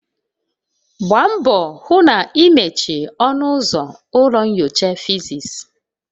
Gbaa mbọ hụ na ị mechie ọnụ ụzọ ụlọ nyocha physics.